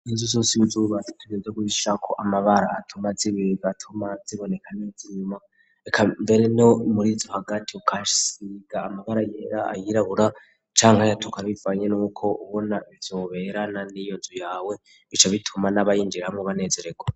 inzu zose iyo uzubatse utegerezwa kuyishirako amabara atuma zibegwa atuma ziboneka neza inyuma eka mbere no murizo hagati ukahasiga amabara yera n'ayirabura canka ayatura bivanye nuko ubona vyoberana n'iyonzu yawe bica bituma n'abayinjiramwo banezeregwa.